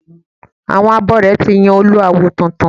Àwọn abore ti yàn Olú awo tuntun